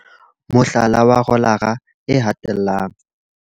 Photo 1- Mohlala wa rolara e hatellang.